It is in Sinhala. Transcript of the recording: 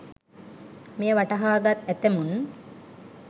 මෙය වටහා ගත් ඇතැමුන්